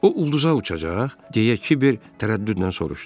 O ulduza uçacaq, deyə Kiber tərəddüdlə soruşdu.